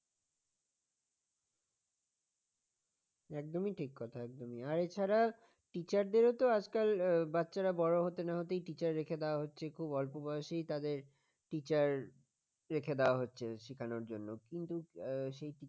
একদমই ঠিক কথা একদমই আর এছাড়া teacher দের তো আজকাল বাচ্চারা বড় হতে না হতে teacher রেখে দেওয়া হচ্ছে খুব অল্প বয়সেই তাদের teacher রেখে দেওয়া হচ্ছে শেখানোর জন্য কিন্তু সেই teacher